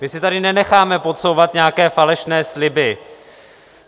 My si tady nenecháme podsouvat nějaké falešné sliby.